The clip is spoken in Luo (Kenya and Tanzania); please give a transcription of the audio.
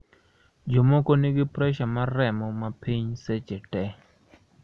jomoko nigi pressure mar remo mapiny seche te